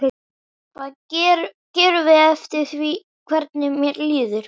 Hvað við gerum fer eftir því hvernig mér líður.